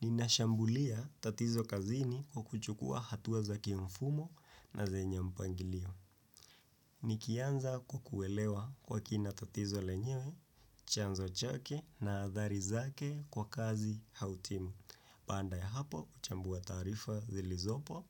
Ninashambulia tatizo kazini kwa kuchukua hatuwa za kimfumo na zenye mpangilio. Nikianza kukuelewa kwa kina tatizo lenyewe, chanzo chake na adhari zake kwa kazi hautimu. Paanda ya hapo, uchambua taarifa zilizopo